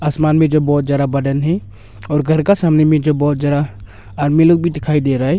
आसमान में जो बहुत ज्यादा बादल है और घर का सामने में जो बहुत जरा आदमी लोग भी दिखाई दे रहा है।